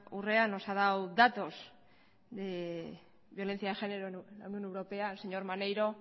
urrea nos ha dado datos de violencia de género en la unión europea el señor maneiro